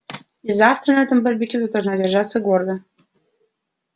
и завтра на этом барбекю ты должна держаться гордо